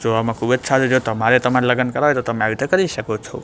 જોવામાં ખુબજ સારી છે તમારે તમારા લગન કરવા હોઇ તોહ તમે આવી રીતે કરી શકો છો.